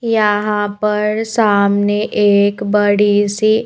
यहां पर सामने एक बड़ी सी--